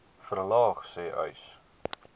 verlaag sê uys